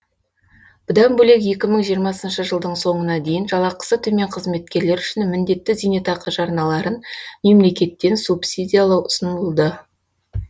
бұдан бөлек екі мың жиырмасыншы жылдың соңына дейін жалақысы төмен қызметкерлер үшін міндетті зейнетақы жарналарын мемлекеттен субсидиялау ұсынылды